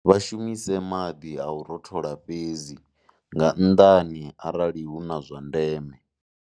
Vha shumise maḓi a u rothola fhedzi, nga nnḓani arali hu na zwa ndeme.